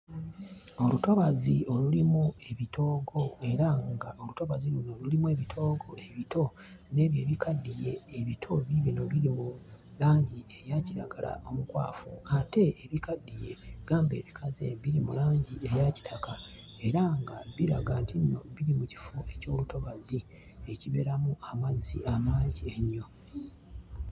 Olutobazi olulimu ebitoogo era ng'olutobazi luno lulimu ebitoogo ebito n'ebyo ebikaddiye. Ebito biibino biri mu langi eya kiragala omukwafu ate ebikaddiye gamba ebikaze, biri mu langi eya kitaka era nga biraga nti nno biri mu kifo eky'olutobazi ekibeeramu amazzi amangi ennyo.